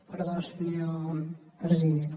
perdó senyor president